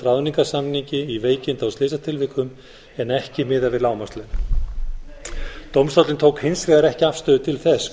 ráðningarsamningi í veikinda og slysatilvikum en ekki miðað við lágmarkslaun dómstóllinn tók hins vegar ekki afstöðu til þess